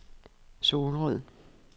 Solrød